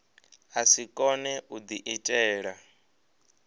a si kone u diitela